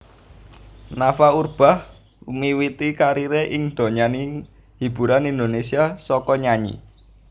Nafa Urbach miwiti kariré ing donyaning hiburan Indonésia saka nyanyi